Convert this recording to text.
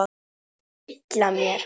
Dilla mér.